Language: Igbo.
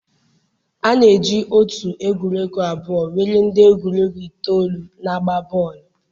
a na-eji otu egwuregwu abụọ nwere ndị egwuregwu itoolu na-agba bọọlụ.